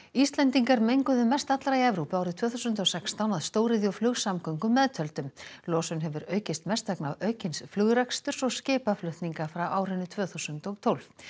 Íslendingar menguðu mest allra í Evrópu árið tvö þúsund og sextán að stóriðju og flugsamgöngum meðtöldum losun hefur aukist mest vegna aukins flugreksturs og skipaflutninga frá árinu tvö þúsund og tólf